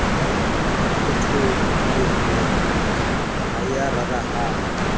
phutholohile ha e ya rarahana